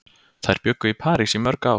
Þær bjuggu í París í mörg ár.